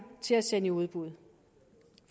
til at sende i udbud